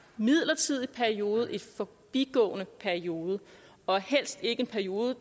midlertidig periode en forbigående periode og helst ikke en periode